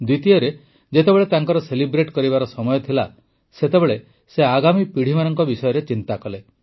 ଦ୍ୱିତୀୟରେ ଯେତେବେଳେ ତାଙ୍କର ସେଲିବ୍ରେଟ କରିବାର ସମୟ ଥିଲା ସେତେବେଳେ ସେ ଆଗାମୀ ପିଢ଼ିମାନଙ୍କ ବିଷୟରେ ଚିନ୍ତା କଲେ